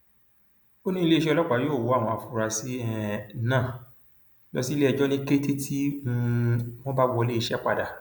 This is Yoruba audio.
ó ní iléeṣẹ ọlọpàá yóò wọ àwọn afurasí um náà lọ síléẹjọ ní kété tí um wọn bá wọlé iṣẹ padà